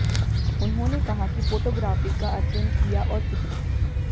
उन्होंने कहा कि फोटोग्राफी का अध्ययन किया और चित्रित